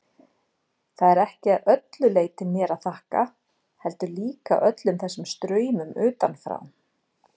Það er ekki að öllu leyti mér að þakka, heldur líka öllum þessum straumum utanfrá.